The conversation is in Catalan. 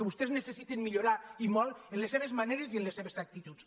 vostès necessiten millorar i molt en les seves maneres i en les seves actituds